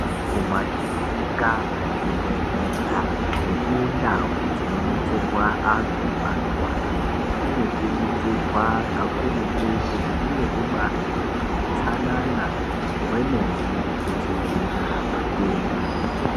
Kumakirinika, kuzvibhedhlera nekundau dzinobetserwa antu anorwara kunokurudzirwa kakurutu kuti kunge kubaarine utsanana hwemene kudziwirira matenda.